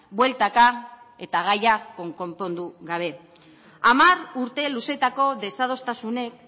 bueltaka eta gaia konpondu gabe hamar urte luzeetako desadostasunek